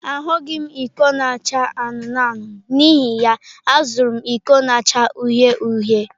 Ahụghị m iko na-acha anụnụ anụnụ, n'ihi ya, azụrụ m iko na-acha uhie uhie.